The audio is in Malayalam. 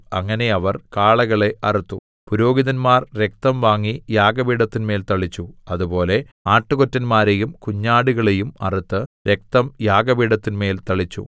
അങ്ങനെ അവർ കാളകളെ അറുത്തു പുരോഹിതന്മാർ രക്തം വാങ്ങി യാഗപീഠത്തിന്മേൽ തളിച്ചു അതുപോലെ ആട്ടുകൊറ്റന്മാരെയും കുഞ്ഞാടുകളെയും അറുത്ത് രക്തം യാഗപീഠത്തിന്മേൽ തളിച്ചു